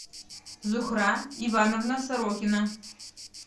зухра ивановна сорокина